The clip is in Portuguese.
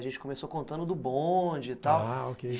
A gente começou contando do bonde e tal.